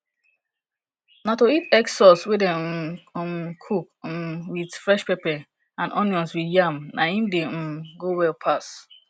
na to eat egg sauce wey dey um um cook um with fresh pepper and onions with yam na im dey um go well pass